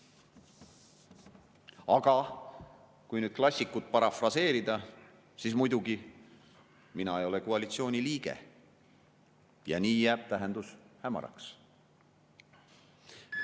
Aga kui nüüd klassikut parafraseerida, siis muidugi, mina ei ole koalitsiooni liige ja nii jääb tähendus hämaraks.